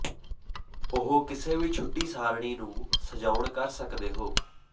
ਉਹ ਕਿਸੇ ਵੀ ਛੁੱਟੀ ਸਾਰਣੀ ਨੂੰ ਸਜਾਉਣ ਕਰ ਸਕਦੇ ਹੋ